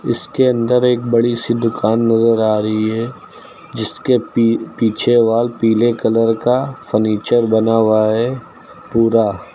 इसके अंदर एक बड़ी सी दुकान नजर आ रही है जिसके पी पीछे वाल पीले कलर का फर्नीचर बना हुआ है पूरा।